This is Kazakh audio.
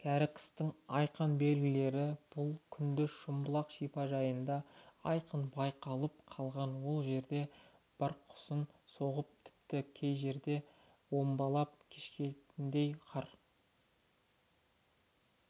кәрі қыстың айқын белгілері бұл күнде шымбұлақ шипажайында айқын байқалып қалған ол жерде бұрқасын соғып тіпті кей жерге омбылап кешетіндей қар